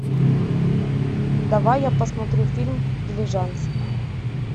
давай я посмотрю фильм дилижанс